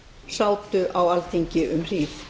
sátu á alþingi um hríð